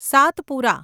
Satpura